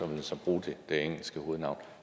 man så bruge det engelske hovednavn